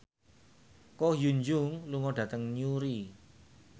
Ko Hyun Jung lunga dhateng Newry